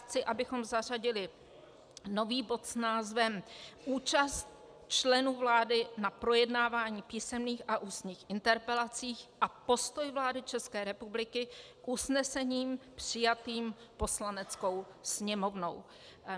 Chci, abychom zařadili nový bod s názvem Účast členů vlády na projednávání písemných a ústních interpelací a postoj vlády České republiky k usnesením přijatým Poslaneckou sněmovnou.